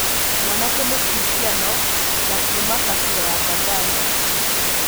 Mwanake, mũkristiano na kuma kabĩra ya Baganda.